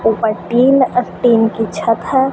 उपर टीन अ टीन की छत हैं।